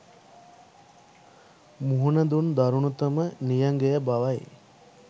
මුහුණ දුන් දරුනතම නියඟය බවයි.